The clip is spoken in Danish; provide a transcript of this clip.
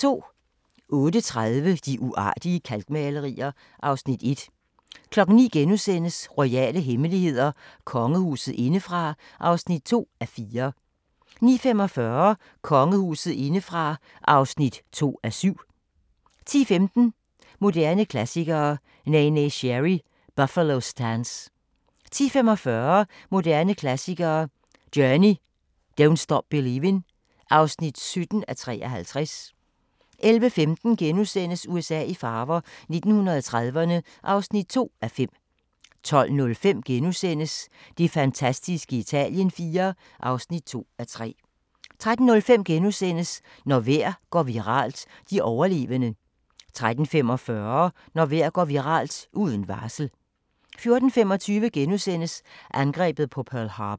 08:30: De uartige kalkmalerier (Afs. 1) 09:00: Royale hemmeligheder: Kongehuset indefra (2:4)* 09:45: Kongehuset indefra (2:7) 10:15: Moderne Klassikere: Neneh Cherry – Buffalo Stance 10:45: Moderne Klassikere: Journey – Don´t Stop Believin (17:53) 11:15: USA i farver – 1930'erne (2:5)* 12:05: Det fantastiske Italien IV (2:3)* 13:05: Når vejr går viralt – de overlevende * 13:45: Når vejr går viralt – uden varsel! 14:25: Angrebet på Pearl Harbour *